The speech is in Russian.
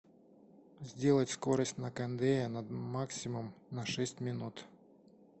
сделать скорость на кондее на максимум на шесть минут